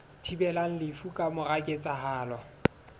thibelang lefu ka mora ketsahalo